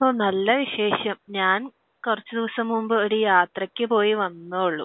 ഓഹ്. നല്ല വിശേഷം. ഞാൻ കുറച്ച് ദിവസം മുൻപ് ഒരു യാത്രയ്ക്ക് പോയി വന്നതേയുള്ളു.